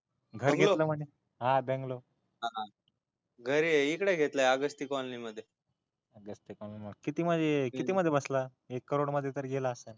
घर घेतल म्हणे बँगलो घर घेतलय की त्या आगस्ती कॉलनी मध्ये आगस्ती कॉलनी मध्ये किती मध्ये बसला एक करोड मध्ये तरी गेला आसल